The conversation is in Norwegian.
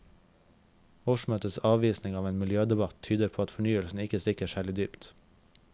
Årsmøtets avvisning av en miljødebatt tyder på at fornyelsen ikke stikker særlig dypt.